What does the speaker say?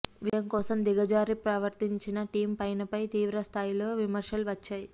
విజయం కోసం దిగజారి ప్రవర్తించిన టిమ్ పైన్పై తీవ్రస్థాయిలో విమర్శలు వచ్చాయి